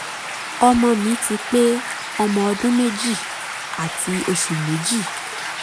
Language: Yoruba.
ọmọ mi ti pé ọmọ ọdún méjì àti oṣù méjì